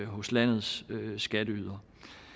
hos landets skatteydere